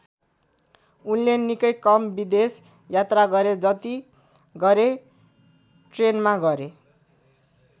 उनले निकै कम विदेश यात्रा गरे जति गरे ट्रेनमा गरे।